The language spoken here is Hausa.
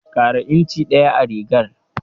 Ƙara inci ɗaya a rigar.